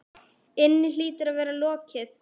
inni hlýtur að vera lokið.